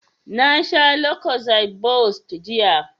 Na sha lucozade boost jiya